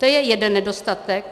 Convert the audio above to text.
To je jeden nedostatek.